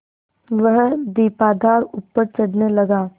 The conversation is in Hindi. वह दीपाधार ऊपर चढ़ने लगा